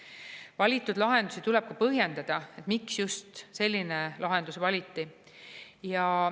Ja valitud lahendusi tuleb põhjendada, miks just selline lahendus valiti.